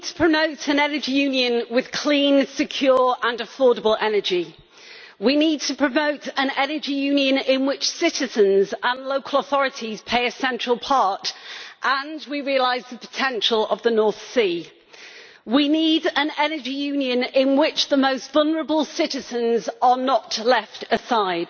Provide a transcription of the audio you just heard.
Mr President, we need to promote an Energy Union with clean, secure and affordable energy. We need to promote an Energy Union in which citizens and local authorities play a central part and we realise the potential of the North Sea. We need an Energy Union in which the most vulnerable citizens are not left aside.